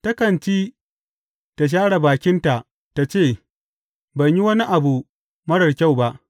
Takan ci ta share bakinta ta ce, Ban yi wani abu marar kyau ba.’